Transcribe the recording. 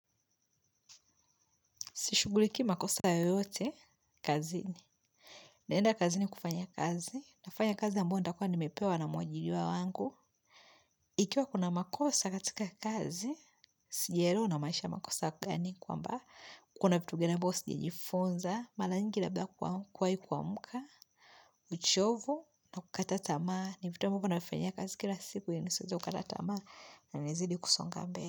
Sishugulikii ma kosa yoyote, kazini. Naenda kazini kufanya kazi, nafanya kazi ambao nita kuwa nimepewa na mwajiliwa wangu. Ikiwa kuna makosa katika kazi, sijaelewa una maanisha makosa gani kwamba. Kuna vitu vibayo sija jifunza, mala nyingi labda kwa kuwai kuamka, uchovu na kukata tama. Nivitu ambavyo navifanyia kazi kila siku yanisieze kukata tamaa na nizidi kusonga mbele.